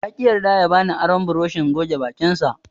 Yaƙi yarda ya bani aron burushin goge bakinsa.